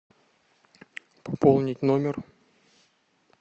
пополнить номер